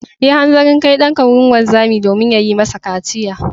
Yi hanzarin kai ɗanka wurin wanzami domin ya yi masa kaciya.